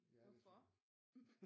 Hvorfor